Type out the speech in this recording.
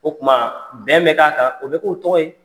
O kuma bɛn bi k'a kan, o bi k'u tɔgɔ ye.